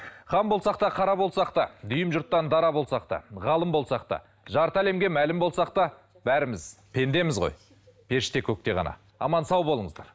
хан болсақ та қара болсақ та дүйім жұрттан дара болсақ та ғалым болсақ та жарты әлемге мәлім болсақ та бәріміз пендеміз ғой періште көкте ғана аман сау болыңыздар